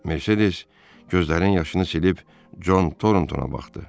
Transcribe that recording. Mercedes gözlərinin yaşını silib Con Torntona baxdı.